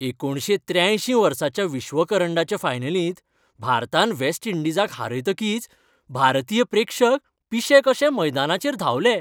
एकुणशे त्रेयांयशी वर्साच्या विश्वकरंडाच्या फायनलींत भारतान वेस्ट इंडिजाक हारयतकीच भारतीय प्रेक्षक पिशे कशे मैदानाचेर धांवले.